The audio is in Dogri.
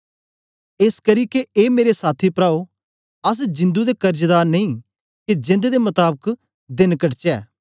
एसकरी ए मेरे साथी प्राओ अस जिंदु दे कर्जदार नेई के जेंद दे मताबक देन कटचै